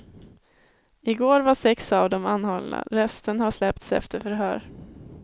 Igår var sex av dem anhållna, resten har släppts efter förhör.